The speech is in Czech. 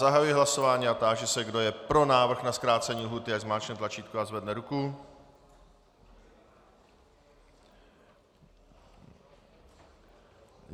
Zahajuji hlasování a táži se, kdo je pro návrh na zkrácení lhůty, ať zmáčkne tlačítko a zvedne ruku.